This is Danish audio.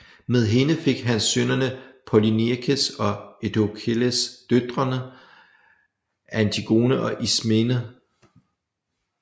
Med hende fik han sønnerne Polyneikes og Eteokles og døtrene Antigone og Ismene